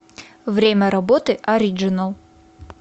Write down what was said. время работы ориджинал